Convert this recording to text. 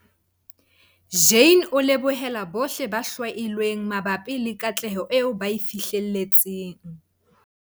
Jane a lebohela bohle ba hlwailweng mabapi le katleho eo ba e fihlelletseng.